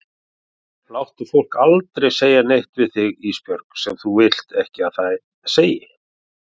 Láttu fólk aldrei segja neitt við þig Ísbjörg sem þú vilt ekki að það segi.